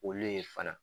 Olu ye fana